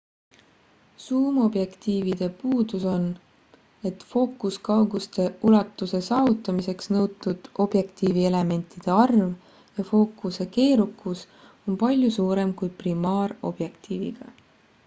suumobjektiivide puudus on et fookuskauguste ulatuse saavutamiseks nõutud objektiivielementide arv ja fookuse keerukus on palju suurem kui primaarobjektiiviga